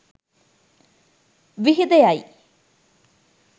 විහිද යයි.